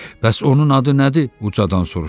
Bəs onun adı nədir?